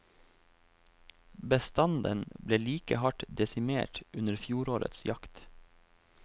Bestanden ble like hardt desimert under fjorårets jakt.